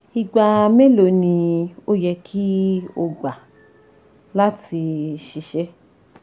igba melo ni o yẹ ki o gba lati ṣiṣẹ??